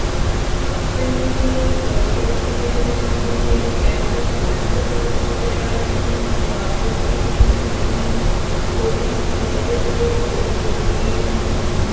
അഭിമന്യുവിനെ കൊലപ്പെടുത്തിയതിനു പിന്നില് campus front പ്രവര്ത്തകരാണെന്നാണ് പ്രാഥമിക നിഗമനമെന്ന് പോലീസ് നേരത്തെ വെളിപ്പെടുത്തിയിരുന്നു